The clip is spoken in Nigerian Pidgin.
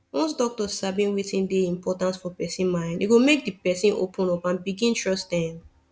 once doctor sabi wetin dey important for person mind e go make the person open up and begin trust dem